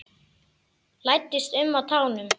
Læddist um á tánum.